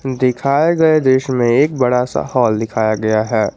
दिखाए गए दृश्य में एक बड़ा सा हॉल दिखाया गया है।